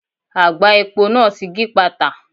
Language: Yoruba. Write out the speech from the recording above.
Àgbá epo náà ti gípàtà.